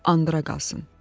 Andıra qalsın!